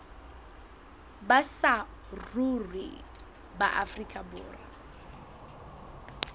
ba saruri ba afrika borwa